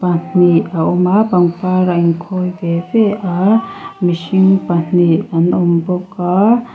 pahnih a awm a pangpar a inkhawi ve ve a mihring pahnih an awm bawk a.